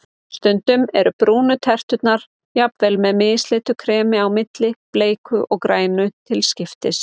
Stundum eru brúnu terturnar jafnvel með mislitu kremi á milli, bleiku og grænu til skiptis.